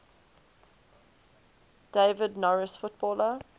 david norris footballer